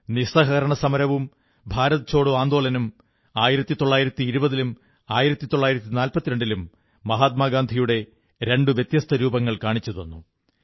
നിസ്സഹകരണ സമരവും ഭാരത് ഛോഡോ ആന്ദോളനും 1920ലും 1942ലും മഹാത്മാഗാന്ധിയുടെ രണ്ടു വ്യത്യസ്ഥ രൂപങ്ങൾ കാണിച്ചുതന്നു